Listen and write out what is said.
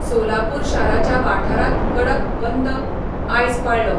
सोलापूर शाराच्या वाठारांत कडक बंद आयज पाळ्ळो.